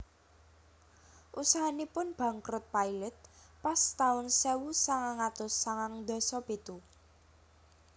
Usahanipun bangkrut pailit pas taun sewu sangang atus sangang ndasa pitu